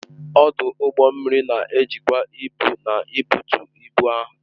ọdụ ụgbọ mmiri na-ejikwa ibu na ibutu ibu ahụ